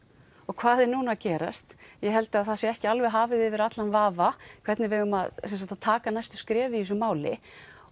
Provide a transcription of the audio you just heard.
hvað er núna að gerast ég held að það sé ekki alveg hafið yfir allan vafa hvernig við eigum að taka næstu skref í þessu máli